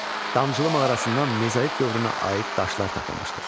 Damcılı mağarasından mezolit dövrünə aid daşlar tapılmışdır.